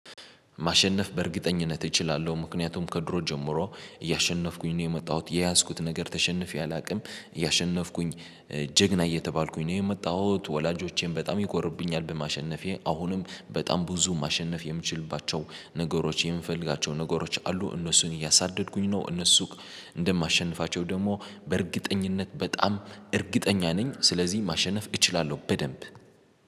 ማሸነፍ በእርግጠኝነት እችላለሁ ምክንያቱም ከድሮ ጀምሮ እያሸነፍኩኝ ነው የመጣሁት የያዝኩት ነገር ተሸንፌ አላውቅም እያሸነፍኩኝ ጀግና እየተባልኩኝ ነው የመጣሁት። ወላጆቼም በጣም ይኮሩብኛል በማሸነፌ አሁንም በጣም ብዙ ማሸነፍ የምችልባቸው ነገሮች የምፈልጋቸው ነገሮች አሉ። እነሱን እያሳደድኩኝ ነው እነሱ እንደማሸንፋቸው ደግሞ በእርግጠኝነት በጣም እርግጠኛ ነኝ። ስለዚህ ማሸነፍ እችላለሁ በደንብ